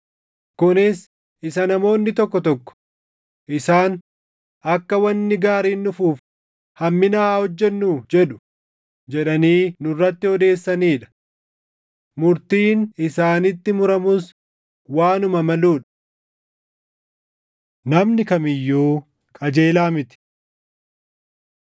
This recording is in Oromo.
Kunis isa namoonni tokko tokko, “Isaan, ‘Akka wanni gaariin dhufuuf hammina haa hojjennu?’ jedhu” jedhanii nurratti odeessisanii dha. Murtiin isaanitti muramus waanuma maluu dha! Namni Kam iyyuu Qajeelaa miti